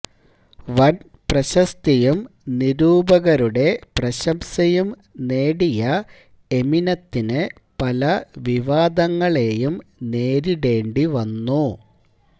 വൻ പ്രശസ്തിയും നിരൂപകരുടെ പ്രശംസയും നേടിയ എമിനത്തിന് പല വിവാദങ്ങളേയും നേരിടേണ്ടി വന്നു